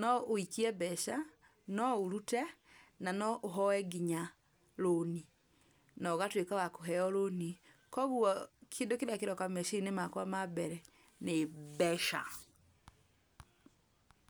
no wũikie mbeca no ũrute na no ũhoe nginya rũni na ũgatuĩka wa kũheo rũni. Koguo kĩndũ kĩrĩa kĩroka meciria-inĩ makwa ma mbere nĩ mbeca.